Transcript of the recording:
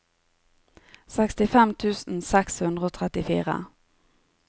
sekstifem tusen seks hundre og trettifire